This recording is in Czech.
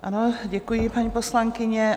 Ano, děkuji, paní poslankyně.